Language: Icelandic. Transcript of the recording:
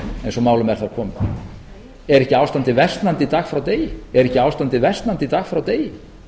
eins og málum er þar komið er ekki ástandið versnandi dag frá degi